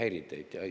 Ei häiri teid?